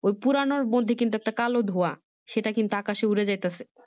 ওই পুড়ানোর মধ্যে কিন্তু একটা কালো ধোয়া এটা কিন্তু আকাশে উড়ে যাইতেছে